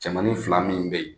Cɛmanin fila min bɛ yen